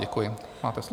Děkuji, máte slovo.